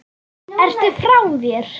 Ertu frá þér!?